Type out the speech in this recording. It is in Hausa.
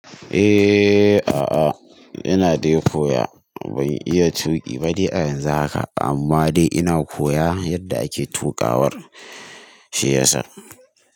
Eh, a'a ina dai koya ban iya tuƙi ba dai a yanzu haka amma dai ina koya yadda ake tuƙawar shi yasa.